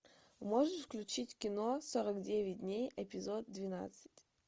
можешь включить кино сорок девять дней эпизод двенадцать